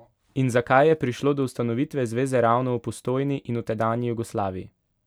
In zakaj je prišlo do ustanovitve zveze ravno v Postojni in v tedanji Jugoslaviji?